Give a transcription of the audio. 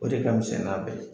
O de ka misɛn n'a bɛɛ ye.